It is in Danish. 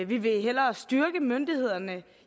vi vil hellere styrke myndighederne